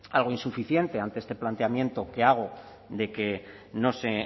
algo insuficiente ante este planteamiento que hago de que no se